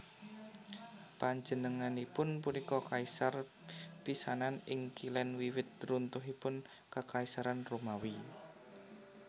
Panjenenganipun punika kaisar pisanan ing Kilèn wiwit runtuhipun Kakaisaran Romawi